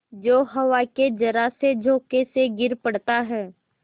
जो हवा के जरासे झोंके से गिर पड़ता है